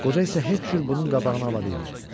Qoca isə heç cür bunun qabağını ala bilmirdi.